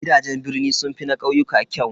Gidajen birni sun fi na ƙauyuka kyau.